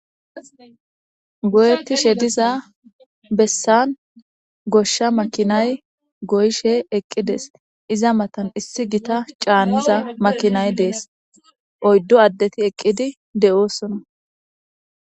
Goyetishe diza besani gosha makinay gooyishe eqides iza matani issi gitta caniza makinay dese iza matani oyidu adeti eqidi de'osona